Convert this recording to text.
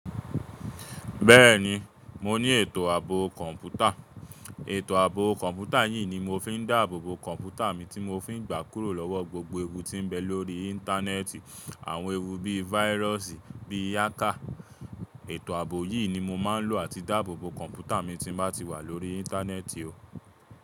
Bẹ́ẹ̀ni, mo ní ètò àbò kọ̀ǹpútà. Ètò àbò kọ̀ǹpútà yìí ni mo fi ń dáàbò kọ̀ǹpútà mi tí mo fi ń gbà kúrò lọ́wọ́ gbogbo ewu tí ń bẹ lóri íńtánẹ́ẹ̀tì. Àwọn ewu bí i váírọ̀sì, bíi hákà. Ètò àbò yìí ni mo máa ń lò láti dáàbò kọ̀ǹpútà mi tí bá ti wà lórí íńtánẹ́ẹ̀tì o.